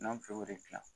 N'an filɛ o de gilan